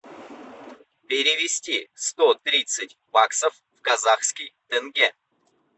перевести сто тридцать баксов в казахский тенге